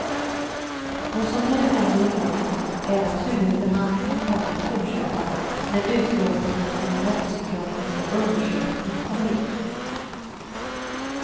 Vad som nu händer i målet är att huvudförhandlingen kommer att fortsätta när utlåtandet från den rättspsykiatriska undersökningen kommer in.